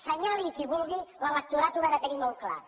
senyali a qui vulgui l’electorat ho va tenir molt clar